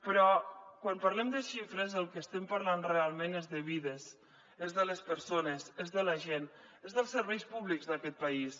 però quan parlem de xifres del que estem parlant realment és de vides és de les persones és de la gent és dels serveis públics d’aquest país